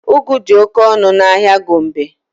Ụgụ dị oke ọnụ n'ahịa Gombe.